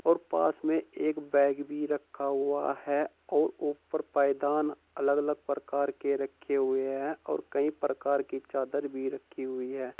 और पास में एक बैग भी रखा हुआ है और ऊपर पायदान अलग अलग प्रकार के रखे हुए हैं और कई प्रकार की चादर भी रखी हुई है।